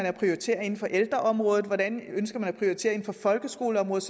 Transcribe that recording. at prioritere inden for ældreområdet hvordan man ønsker at prioritere inden for folkeskoleområdet